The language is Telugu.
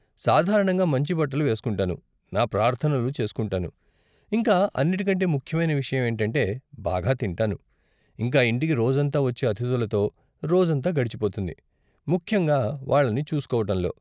సాధారణంగా మంచి బట్టలు వేస్కుంటాను, నా ప్రార్ధనలు చేస్కుంటాను, ఇంకా అన్నిటికంటే ముఖ్యమైన విషయం ఏంటంటే బాగా తింటాను, ఇంకా ఇంటికి రోజంతా వచ్చే అతిధులతో, రోజంతా గడిచిపోతుంది, ముఖ్యంగా వాళ్ళని చూసుకోవటంలో.